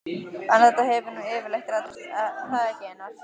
En þetta hefur nú yfirleitt reddast, er það ekki Einar?